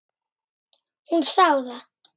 Hún sá það.